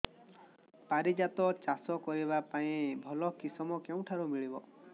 ପାରିଜାତ ଚାଷ କରିବା ପାଇଁ ଭଲ କିଶମ କେଉଁଠାରୁ ମିଳିବ